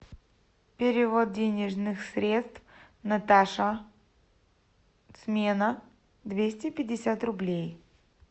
перевод денежных средств наташа смена двести пятьдесят рублей